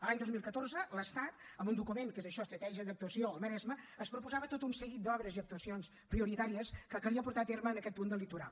l’any dos mil catorze l’estat amb un document que és això estratègia d’actuació al maresme es proposava tot un seguit d’obres i actuacions prioritàries que calia portar a terme en aquest punt del litoral